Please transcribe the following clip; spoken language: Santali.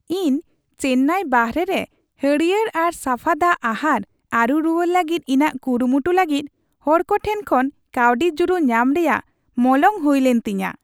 ᱤᱧ ᱪᱮᱱᱟᱭ ᱵᱟᱦᱨᱮ ᱨᱮ ᱦᱟᱹᱨᱭᱟᱹᱲ ᱟᱨ ᱥᱟᱯᱷᱟ ᱫᱟᱜ ᱟᱦᱟᱨ ᱟᱨᱩ ᱨᱩᱣᱟᱹᱲ ᱞᱟᱹᱜᱤᱫ ᱤᱧᱟᱹᱜ ᱠᱩᱨᱩᱢᱩᱴᱩ ᱞᱟᱹᱜᱤᱫ ᱦᱚᱲ ᱠᱚ ᱴᱷᱮᱱ ᱠᱷᱚᱱ ᱠᱟᱹᱣᱰᱤ ᱡᱩᱲᱩ ᱧᱟᱢ ᱨᱮᱭᱟᱜ ᱢᱚᱞᱚᱝ ᱦᱩᱭᱞᱮᱱ ᱛᱤᱧᱟᱹ ᱾